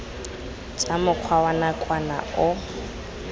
tsa mokgwa wa nakwana o